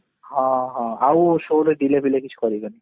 ହଁ ହଁ ଆଉ show ରେ delay ଫିଲେ କିଛି କରିବାନି